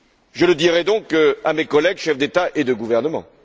Je le dirai donc à mes collègues chefs d'État et de gouvernement.